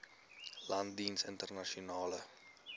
land jeens internasionale